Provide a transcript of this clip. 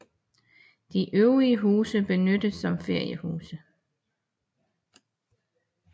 De øvrige huse benyttes som feriehuse